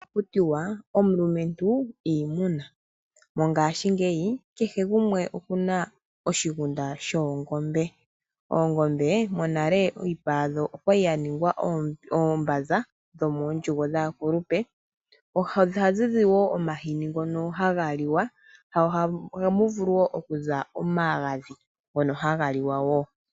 Ohaku tiwa: "Omulumentu iimuna". Mongashingeyi, kehe gumwe oku na oshigunda shoongombe. Oongombe, monale iipa yadho oya li ya ningwa oombanza dhomoondjugo dhaakulupe. Ohadhi zi wo omahini ngino haga liwa. Ohamu vulu wo okuza omagadhi ngono haga liwa wo.